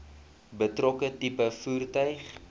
betrokke tipe voertuig